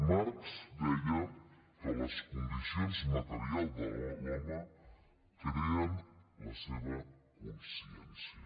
marx deia que les condicions materials de l’home creen la seva consciència